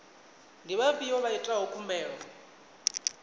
ndi vhafhio vha itaho khumbelo